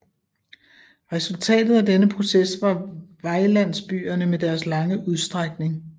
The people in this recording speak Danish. Resultatet af denne proces var vejlandsbyerne med deres lange udstrækning